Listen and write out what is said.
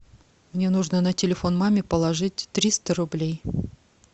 мне нужно на телефон маме положить триста рублей